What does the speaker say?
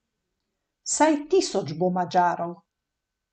Vsaj tisoč bo Madžarov.